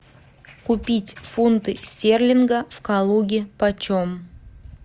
купить фунты стерлинга в калуге почем